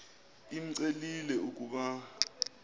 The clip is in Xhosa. imcelile l ukuba